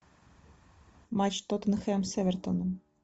матч тоттенхэм с эвертоном